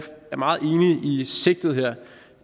meget enige i sigtet her at